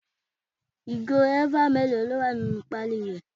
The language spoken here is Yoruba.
Ìgò eva mélòó ló wà nínú pali rẹ?